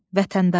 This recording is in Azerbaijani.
Vətəndaş.